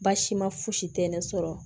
Baasi ma fosi tɛ ne sɔrɔ